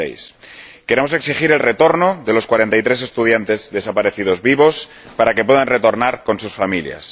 2006. Queremos exigir que los 43 estudiantes desaparecidos vivos puedan retornar con sus familias